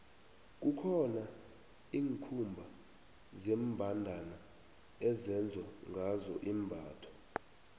kukhona iinkhumba zembandana ezenzwa ngazo imbatho